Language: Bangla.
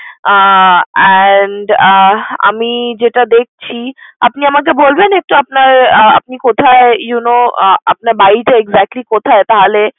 আহ And আহ আমি যেটা দেখছি আপনি আমাকে বলবেন একটু আপনার আপনি কোথায় you know আহ আপনার বাড়িটা exactly কোথায় তাহলে